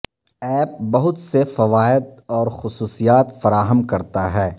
app بہت سے فوائد اور خصوصیات فراہم کرتا ہے